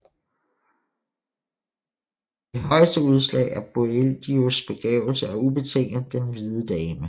Det højeste udslag af Boïeldieus begavelse er ubetinget Den hvide Dame